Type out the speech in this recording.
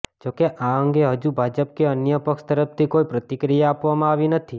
જોકે આ અંગે હજુ ભાજપ કે અન્ય પક્ષ તરફથી કોઈ પ્રતિક્રિયા આપવામા આવી નથી